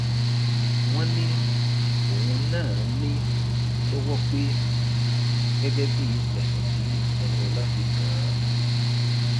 wọn ní òun náà ní lọwọ pé gẹgẹ bíi ẹsùn tí ẹnilọlá fi kàn án